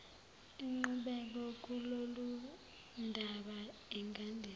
inqubeko kulolundaba ingandisa